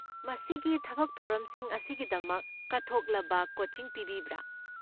ꯃꯁꯤꯒꯤ ꯊꯕꯛ ꯊꯧꯔꯝꯁꯤꯡ ꯑꯁꯤꯒꯤꯗꯃꯛ ꯀꯠꯊꯣꯛꯂꯕ ꯀꯣꯆꯤꯡ ꯄꯤꯕꯤꯕ꯭ꯔꯥ?